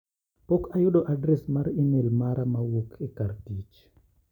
Pok ayudo adres mar imel mara mowuok e kar tich.